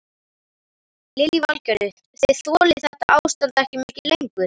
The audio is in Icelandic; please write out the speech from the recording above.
Lillý Valgerður: Þið þolið þetta ástand ekki mikið lengur?